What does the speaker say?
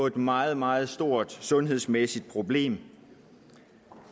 et meget meget stort sundhedsmæssigt problem